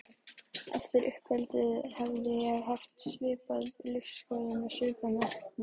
Eftir uppeldið hefði ég haft svipaða lífsskoðun og svipaðan metnað.